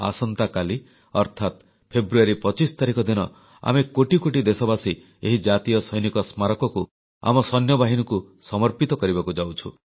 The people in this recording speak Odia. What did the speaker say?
ଆସନ୍ତାକାଲି ଅର୍ଥାତ ଫେବୃଆରୀ 25 ତାରିଖ ଦିନ ଆମେ କୋଟି କୋଟି ଦେଶବାସୀ ଏହି ରାଷ୍ଟ୍ରୀୟ ଯୁଦ୍ଧ ସ୍ମାରକୀ କୁ ଆମ ସୈନ୍ୟବାହିନୀକୁ ସମର୍ପିତ କରିବାକୁ ଯାଉଛୁ